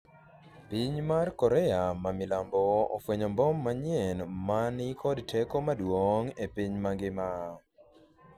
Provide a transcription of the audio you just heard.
piny Korea ma milambo ofwenyo mbom manyien ma ni kod teko maduong' e piny mangima